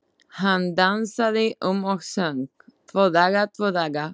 Hann dansaði um og söng: Tvo daga, tvo daga